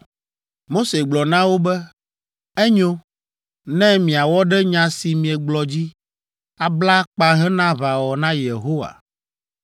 Mose gblɔ na wo be, “Enyo; ne miawɔ ɖe nya si miegblɔ dzi, abla akpa hena aʋawɔwɔ na Yehowa,